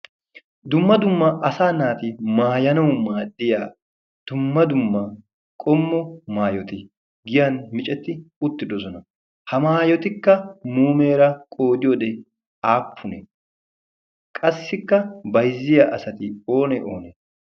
dumma dumma asa naati maayanawu maaddiya dumma dumma qommo maayoti' giyan micetti utti dosona. ha maayotikka muumeera qoodi oode aappunee qassikka baizziya asati oone oonee?